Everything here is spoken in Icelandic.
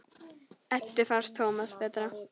Eddu fannst Tómas betra.